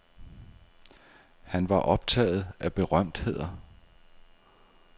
Han var optaget af berømtheder.